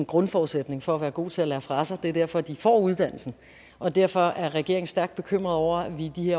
grundforudsætning for at være god til at lære fra sig det er derfor de får uddannelsen og derfor er regeringen stærkt bekymret over at vi i de